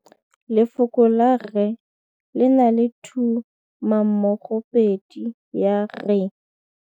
Lefoko la rre le na le tumammogôpedi ya, r.